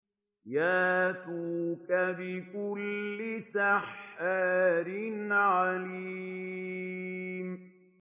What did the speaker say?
يَأْتُوكَ بِكُلِّ سَحَّارٍ عَلِيمٍ